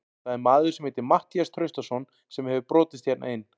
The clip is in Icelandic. Það er maður sem heitir Matthías Traustason sem hefur brotist hérna inn.